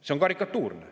See on karikatuurne.